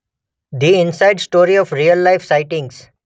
ધિ inside story of real life sightings